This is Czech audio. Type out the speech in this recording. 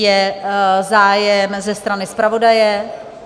Je zájem ze strany zpravodaje?